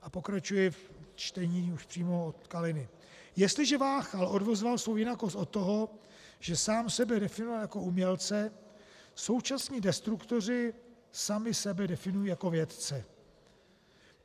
A pokračuji ve čtení už přímo od Kaliny: Jestliže Váchal odvozoval svou jinakost od toho, že sám sebe definoval jako umělce, současní destruktoři sami sebe definují jako vědce.